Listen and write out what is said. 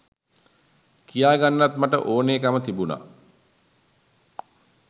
කියා ගන්නත් මට ඕනෙ කම තිබුණා.